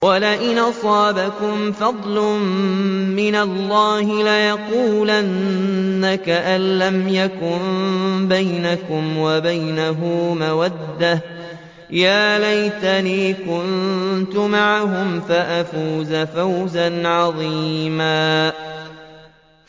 وَلَئِنْ أَصَابَكُمْ فَضْلٌ مِّنَ اللَّهِ لَيَقُولَنَّ كَأَن لَّمْ تَكُن بَيْنَكُمْ وَبَيْنَهُ مَوَدَّةٌ يَا لَيْتَنِي كُنتُ مَعَهُمْ فَأَفُوزَ فَوْزًا عَظِيمًا